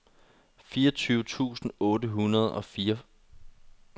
fireogtyve tusind otte hundrede og syvogfyrre